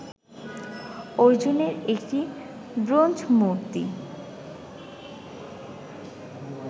অর্জুনের একটি ব্রোঞ্জমূর্তি